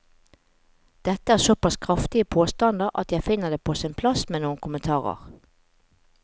Dette er såpass kraftige påstander at jeg finner det på sin plass med noen kommentarer.